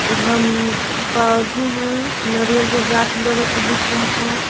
उधम पौधे हैं नारियल के गाछ बगल से दिख रहा है।